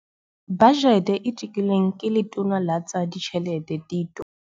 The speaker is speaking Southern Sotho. Bajete e tekilweng ke Letona la tsa Ditjhelete Tito